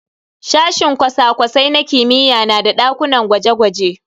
Sashinan cosa-cosai na kimiyya na da dakunan gwaje-gwaje.